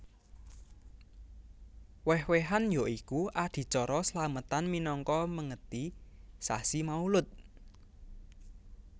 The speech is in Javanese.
Wéh wéhan ya iku adicara slamètan minangka méngèti sasi Maulud